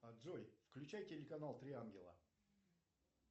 джой включай телеканал три ангела